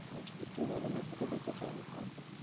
আহ ছুটি বলো না ছুটি দিতে চায় না corporate ।